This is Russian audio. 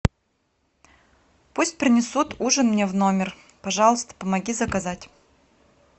пусть принесут ужин мне в номер пожалуйста помоги заказать